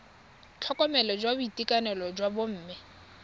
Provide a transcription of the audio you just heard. tlhokomelo ya boitekanelo jwa bomme